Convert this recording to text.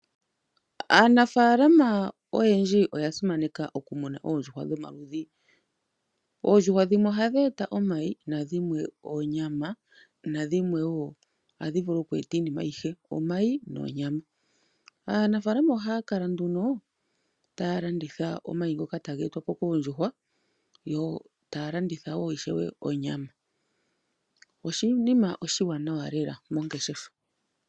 Aanafaalama oyendji oya simaneka okumuna oondjuhwa dhomaludhi. Oondjuhwa dhimwe ohadhi gandja omayi nadhimwe onyama. Dhimwe ohadhi vulu okugandja iinima ayihe, onyama nomayi. Aanafaalama ohaya kala nduno taya landitha omayi ngoka taga etwa po koondjuhwa yo taya landitha ishewe onyama. Oshinima oshiwanawa lela mongeshefa.